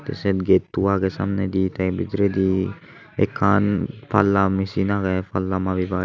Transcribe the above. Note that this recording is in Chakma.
te sei getto agey samnedi te bidiredi ekkan palla mesin agey palla mabibar.